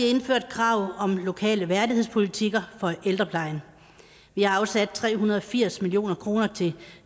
indført krav om lokale værdighedspolitikker for ældreplejen vi har afsat tre hundrede og firs million kroner til en